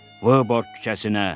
Vıborq küçəsinə!